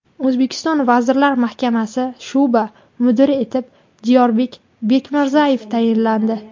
O‘zbekiston Vazirlar Mahkamasi sho‘ba mudiri etib Diyorbek Bekmirzayev tayinlandi.